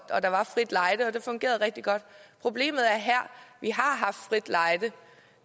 der var frit lejde og det fungerede rigtig godt problemet er her at vi har haft frit lejde